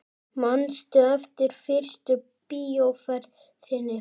Manstu eftir fyrstu bíóferð þinni?